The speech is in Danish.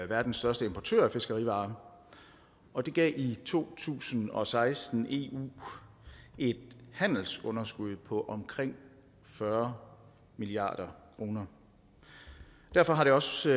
verdens største importør af fiskerivarer og det gav i to tusind og seksten eu et handelsunderskud på omkring fyrre milliard kroner derfor har det også